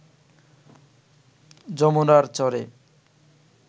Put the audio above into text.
যমুনার চরে